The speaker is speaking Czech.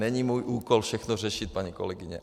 Není můj úkol všechno řešit, paní kolegyně.